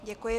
Děkuji.